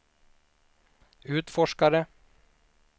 utforskare